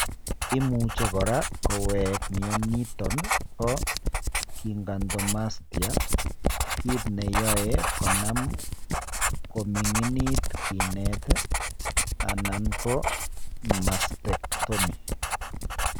Imuche kora kowejk mioniton po gigantomastia, kit neyoe konam kominginit kinet alan ko mastectomy.